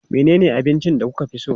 Menene abincin da kuka fi so?